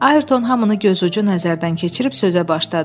Ayrton hamını gözucu nəzərdən keçirib sözə başladı.